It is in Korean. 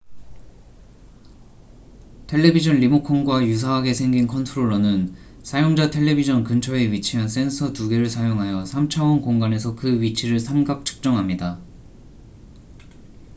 텔레비전 리모컨과 유사하게 생긴 컨트롤러는 사용자 텔레비전 근처에 위치한 센서 2개를 사용하여 3차원 공간에서 그 위치를 삼각 측정합니다